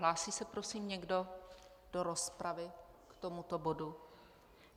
Hlásí se prosím někdo do rozpravy k tomuto bodu?